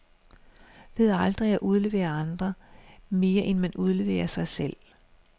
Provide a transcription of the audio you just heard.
Ved aldrig at udlevere andre, mere end man udleverer sig selv.